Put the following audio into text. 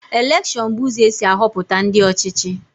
Elekshon bụ ụzọ esi ahọpụta ndị ọchịchị.